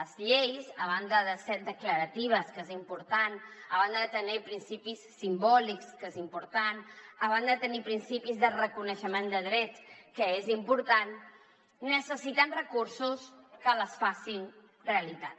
les lleis a banda de ser declaratives que és important a banda de tenir principis simbòlics que és important a banda de tenir principis de reconeixement de drets que és important necessiten recursos que les facin realitat